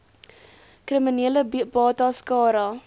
kriminele bates cara